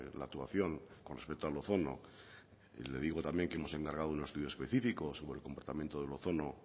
la actuación con respecto al ozono le digo también que hemos encargado un estudio específico sobre el comportamiento del ozono